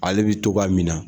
Ale bɛ cogoya min na